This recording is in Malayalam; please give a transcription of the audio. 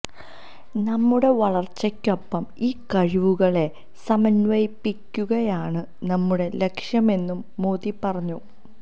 നമ്മുടെ വളർച്ചയ്ക്കൊപ്പം ഈ കഴിവുകളെ സമന്വയിപ്പിക്കുകയാണ് നമ്മുടെ ലക്ഷ്യമെന്നും മോദി പറഞ്ഞു